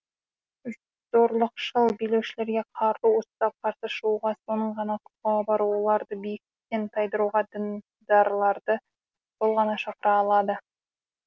зорлықшыл билеушілерге қару ұстап қарсы шығуға соның ғана құқығы бар оларды биліктен тайдыруға діндарларды сол ғана шақыра алады